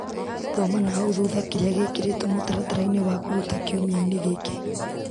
Thoma nahau thutha kĩrĩa gĩkĩrĩtwo mũtaratara-inĩ wa kũruta kiumia-inĩ gĩkĩ .